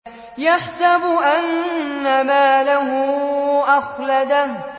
يَحْسَبُ أَنَّ مَالَهُ أَخْلَدَهُ